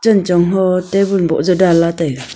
chenchong ho tabun boh jau dan la taiga.